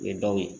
U ye dɔw ye